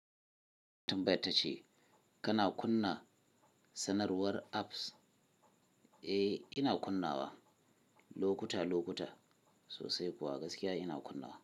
Tambai ba ta ce kana kunna sanarwar apps? Eh ina kunna wa lokuta lokuta sosai kuwa gaskiya ina kunna wa.